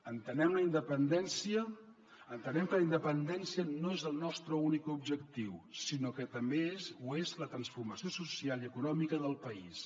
entenem que la independència no és el nostre únic objectiu sinó que també ho és la transformació social i econòmica del país